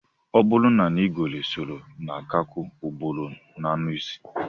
O buru na ngwere soro nkakwu, oburu anuisi